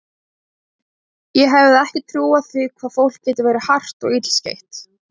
Ég hefði ekki trúað því hvað fólk getur verið hart og illskeytt.